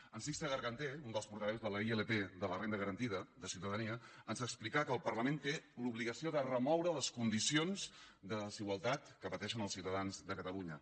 en sixte garganter un dels portaveus de la ilp de la renda garantida de ciutadania ens explicà que el parlament té l’obligació de remoure les condicions de desigualtat que pateixen els ciutadans de catalunya